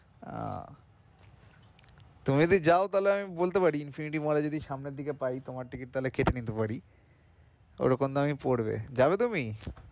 আহ তুমি যদি যাও তাহলে আমি বলতে পারি infinity mall এ যদি সামনের দিকে পাই তোমার ticket তা হলে কেটে নিতে পারি ওরকম দামই পড়বে যাবে তুমি?